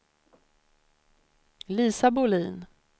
Lisa Bolin